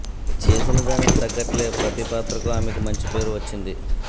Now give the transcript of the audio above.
చేసిన దానికి తగ్గట్లే ప్రతీ పాత్రకు ఆమెకు మంచి పేరు వచ్చింది